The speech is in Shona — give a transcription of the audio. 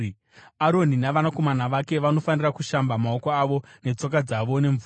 Aroni navanakomana vake vanofanira kushamba maoko avo netsoka dzavo nemvura.